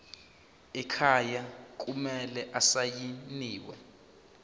ekhaya kumele asayiniwe